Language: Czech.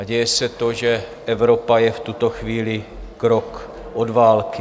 A děje se to, že Evropa je v tuto chvíli krok od války.